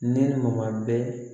Ne ma bɛ